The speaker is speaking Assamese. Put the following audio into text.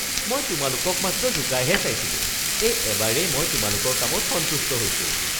মই তোমালোকক মাত্ৰ জোকাইহে চাইছিলোঁ। এই এবাৰেই মই তোমালোকৰ কামত সন্তুষ্ট হৈছোঁ (শিক্ষক)